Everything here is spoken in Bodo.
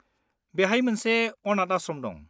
बेहाय मोनसे अनाथ आश्रम दं।